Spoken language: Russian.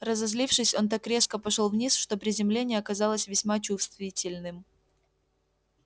разозлившись он так резко пошёл вниз что приземление оказалось весьма чувствительным